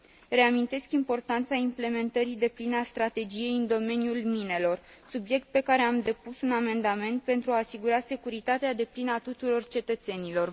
Reamintesc importanța implementării depline a strategiei în domeniul minelor, subiect pentru care am depus un amendament, pentru a asigura securitatea deplină a tuturor cetățenilor.